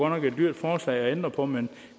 nok et dyrt forslag at ændre på men